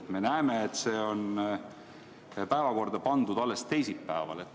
Me näeme, et see on päevakorda pandud alles teisipäevaks.